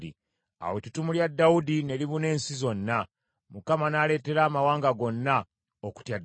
Awo ettutumo lya Dawudi ne libuna ensi zonna, Mukama n’aleetera amawanga gonna okutya Dawudi.